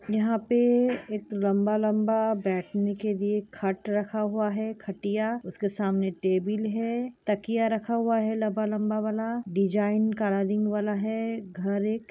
यहाँ पे एक लंबा लंबा बैठने के लिए खाट रखा हुआ है खटिया उसके सामने टेबील है तकिया रखा हुआ है लंबा लंबा वाला डिजाइन वाला है घर एक--